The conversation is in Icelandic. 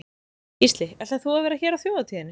Gísli: Ætlar þú að vera hér á þjóðhátíðinni?